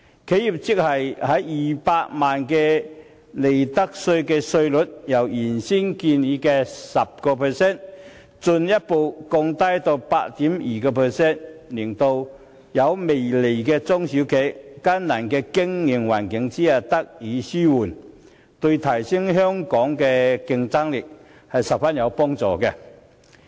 企業首200萬元的利得稅稅率，由原先建議的 10% 進一步降至 8.25%， 為只有微利的中小企在艱難的經營環境中紓困，對提升香港的競爭力很有幫助。